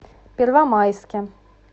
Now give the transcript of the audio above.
первомайске